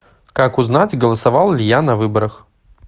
как узнать голосовал ли я на выборах